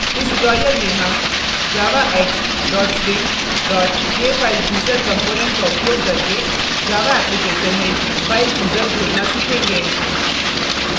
इस tutorial में हम javax swing jfilechooser component का उपयोग करके java application में file chooser जोड़ना सीखेंगे